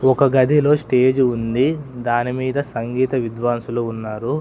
ఒక గదిలో స్టేజ్ ఉంది దాని మీద సంగీత విద్వాసులు ఉన్నారు.